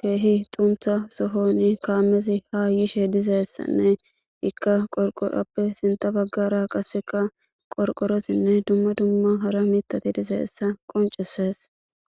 kehi xuntha sohon kamezika yishe dizaysanne ika sintha bagara qorqorotine duma duma hara mithati dizaysa qoncisise